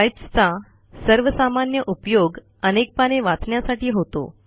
pipes चा सर्वसामान्य उपयोग अनेक पाने वाचण्यासाठी होतो